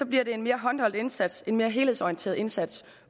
bliver det en mere håndholdt indsats en mere helhedsorienteret indsats